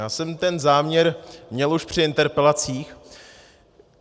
Já jsem ten záměr měl už při interpelacích.